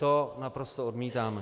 To naprosto odmítáme.